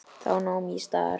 Þá nam ég staðar.